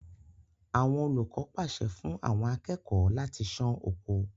Àwọn olùkọ pàṣẹ fún àwọn akẹ́kọ̀ọ́ láti sán oko.